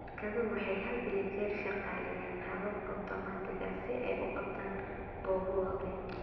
Shirkaduhu waxay had iyo jeer shaqaaleeyaan habab otomaatig ah si ay u qabtaan goobo waaweyn.